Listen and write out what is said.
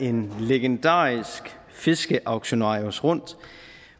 en legendarisk fiskeauktionarius rundt